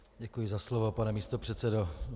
Děkuji za slovo, pane místopředsedo.